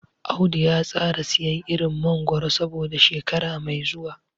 Audu ya tsara siyan irin mangoro saboda shekara mai zuwa.